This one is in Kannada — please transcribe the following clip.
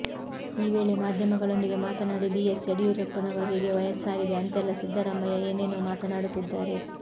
ಈ ವೇಳೆ ಮಾಧ್ಯಮಗಳೊಂದಿಗೆ ಮಾತನಾಡಿ ಬಿಎಸ್ ಯಡಿಯೂರಪ್ಪನವರಿಗೆ ವಯಸ್ಸಾಗಿದೆ ಅಂತೆಲ್ಲ ಸಿದ್ದರಾಮಯ್ಯ ಏನೇನು ಮಾತನಾಡುತ್ತಿದ್ದಾರೆ